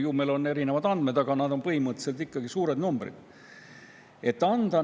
Ju meil on erinevad andmed, aga need on põhimõtteliselt ikkagi suured numbrid.